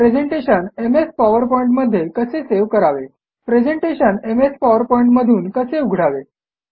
presentation MS PowerPoint मध्ये कसे save करावे प्रेझेंटेशन एमएस पॉवरपॉइंट मधून कसे उघडावे